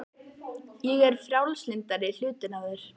Ég er frjálslyndari hlutinn af þér.